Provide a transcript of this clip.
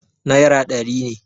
naira ɗari ne